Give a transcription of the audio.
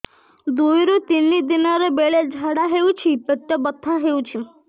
ଦୁଇରୁ ତିନି ଦିନରେ ବେଳେ ଝାଡ଼ା ହେଉଛି ପେଟ ବଥା ହେଉଛି